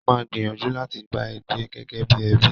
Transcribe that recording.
Mo máa gbìyànjú láti bá a gbé gẹ́gẹ́ bí ẹbí